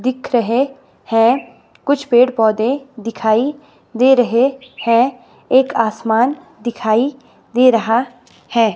दिख रहे हैं कुछ पेड़-पौधे दिखाई दे रहे हैं एक आसमान दिखाई दे रहा है।